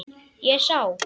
Ég sá.